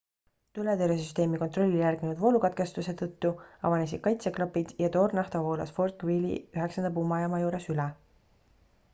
tuletõrjesüsteemi kontrollile järgnenud voolukatkestuse tõttu avanesid kaitseklapid ja toornafta voolas fort greely 9 pumbajaama juures üle